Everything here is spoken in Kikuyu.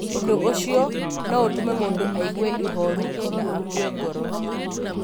Ũndũ ũcio no ũtũme mũndũ aigue ihooru na akue ngoro.